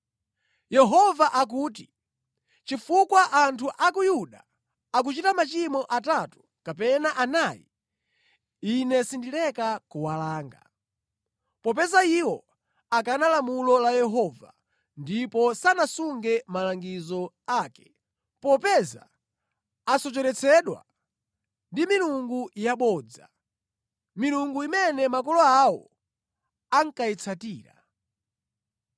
Yehova akuti, “Chifukwa anthu a ku Yuda akunka nachimwirachimwira, Ine sindileka kuwalanga. Popeza iwo akana lamulo la Yehova ndipo sanasunge malangizo ake, popeza asocheretsedwa ndi milungu yabodza, milungu imene makolo awo ankayitsatira,